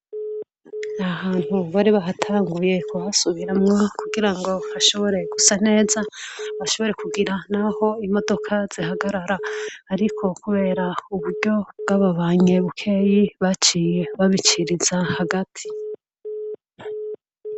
Ahantu bari bahatanguye kuhasubiramwa kugira ngo hashoboreye gusa neza bashoboree kugira, naho imodoka zihagarara, ariko, kubera uburyo bw'ababanyebukeyi baciye babiciriza hagati.